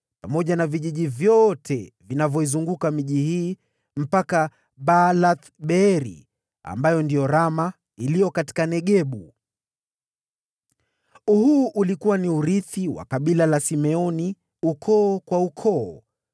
pamoja na vijiji vyote vinavyoizunguka miji hii mpaka Baalath-Beeri (ambayo ndiyo Rama iliyo katika Negebu). Huu ulikuwa ni urithi wa kabila la Simeoni ukoo kwa ukoo.